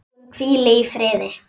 Hún hvíli í friði.